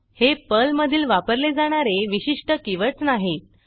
हे पर्ल मधील वापरले जाणारे विशिष्ट कीवर्डस नाहीत